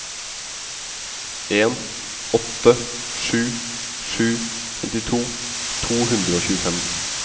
en åtte sju sju femtito to hundre og tjuefem